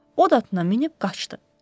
O da minilib qaçdı.